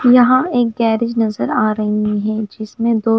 और यहाँ एक गैरेज नज़र आरहे है जिसमे दो--